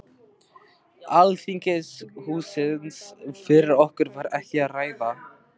Alþingishússins fyrir okkur var ekki að ræða.